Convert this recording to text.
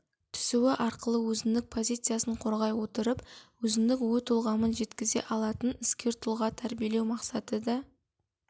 түсуі арқылы өзіндік позициясын қорғай отырып өзіндік ой-толғамын жеткізе алатын іскер тұлға тәрбиелеу мақсаты да